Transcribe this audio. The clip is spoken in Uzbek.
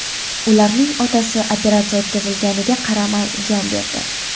Ularning otasi, operatsiya o‘tkazilganiga qaramay, jon berdi.